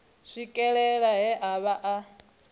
swikelela he a vha a